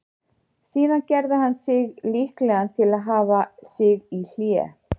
Síðan gerði hann sig líklegan til að hafa sig í hlé.